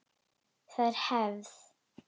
Það er hefð!